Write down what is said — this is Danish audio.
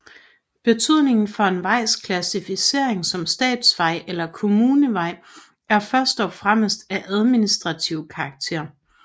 Betydningen for en vejs klassificering som statsvej eller kommunevej er først og fremmest af administrativ karakter